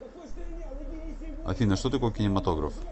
афина что такое кинематограф